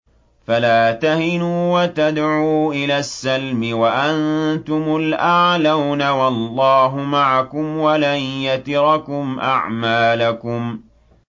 فَلَا تَهِنُوا وَتَدْعُوا إِلَى السَّلْمِ وَأَنتُمُ الْأَعْلَوْنَ وَاللَّهُ مَعَكُمْ وَلَن يَتِرَكُمْ أَعْمَالَكُمْ